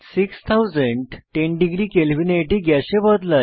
6010 degree কেলভিনে এটি গ্যাসে বদলায়